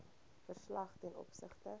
verslag ten opsigte